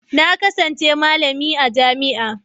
Na kasance malami a jami'a.